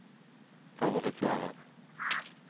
favoriserer